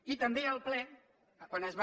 i també al ple quan es va